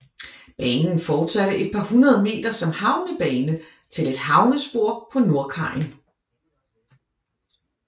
Banen fortsatte et par hundrede meter som havnebane til et havnespor på nordkajen